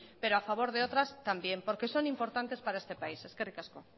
pero a favor de otras también porque son importantes para este país eskerrik asko